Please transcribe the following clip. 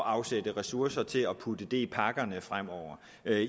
at afsætte ressourcer til at putte det i pakkerne fremover